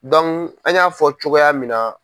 an y'a fɔ cogoya min na